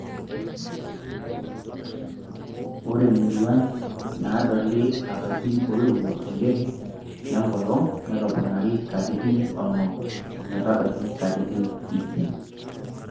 Ore muruan naadoli lapaitin oirowua oleng lenkolong netoponari katitn onom ometabaiki katitin iip.